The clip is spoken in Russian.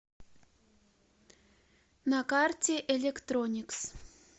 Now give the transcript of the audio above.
на карте электроникс